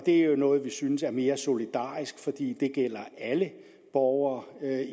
er jo noget vi synes er mere solidarisk fordi det gælder alle borgere